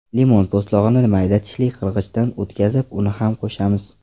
Limon po‘stlog‘ini mayda tishli qirg‘ichdan o‘tkazib, uni ham qo‘shamiz.